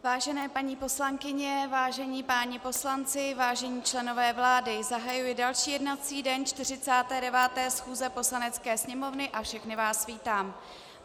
Vážené paní poslankyně, vážení páni poslanci, vážení členové vlády, zahajuji další jednací den 49. schůze Poslanecké sněmovny a všechny vás vítám.